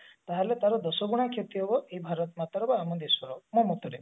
ତାହେଲେ ତାର ଦଶଗୁଣା କ୍ଷତି ହବ ଭାରତ ମାତର ବା ଆମ ଦେଶର ମୋ ମତରେ